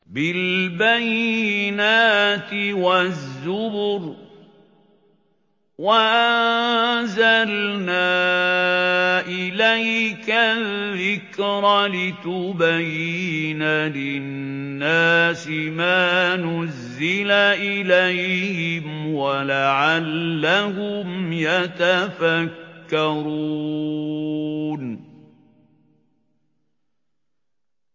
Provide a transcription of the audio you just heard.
بِالْبَيِّنَاتِ وَالزُّبُرِ ۗ وَأَنزَلْنَا إِلَيْكَ الذِّكْرَ لِتُبَيِّنَ لِلنَّاسِ مَا نُزِّلَ إِلَيْهِمْ وَلَعَلَّهُمْ يَتَفَكَّرُونَ